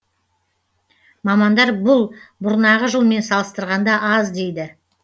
мамандар бұл бұрнағы жылмен салыстырғанда аз дейді